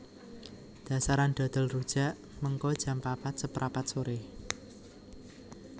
Dasaran dodol rujak mengko jam papat seprapat sore